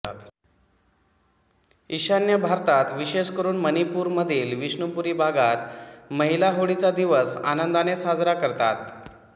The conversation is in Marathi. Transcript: ईशान्य भारतात विशेषकरून मणिपूर मधील विष्णुपुरी भागात महिला होळीचा दिवस आनंदाने साजरा करतात